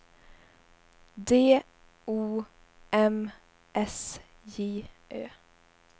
D O M S J Ö